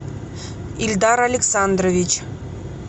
ильдар александрович